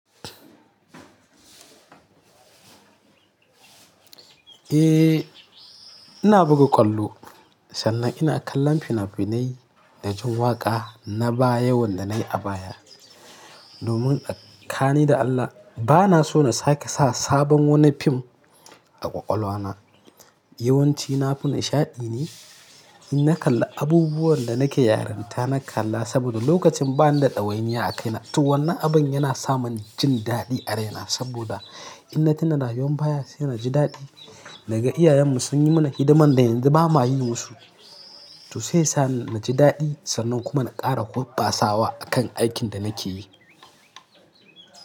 Eh, ina buga ƙwallo sannan ina kallon fina-finai da jin waƙa na baya wanda na yi a baya. Domin da ƙani da Allah bana so na sake sa sabon wani fim a ƙwaƙwalwa na. Yawan ci na fim nishaɗi ne. In na kalla abubuwan da nake yaranta na kalla saboda lokacin ba ni da ɗawainiya a kaina. To wannan abin yana sa mani jin daɗi a raina saboda in na tuna rayuwan baya sai na ji daɗi. Naga iyayenmu sun yi mana hidiman da yanzu ba ma yi musu. To sai ya sani na ji daɗi sannan kuma na ƙara kwabba sawa akan aikin da nake yi.